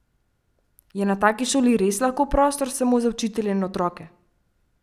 Je na taki šoli res lahko prostor samo za učitelje in otroke?